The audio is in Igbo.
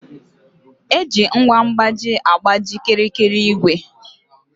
Eji ngwa mkpaji agkpaji kịrịkịrị igwè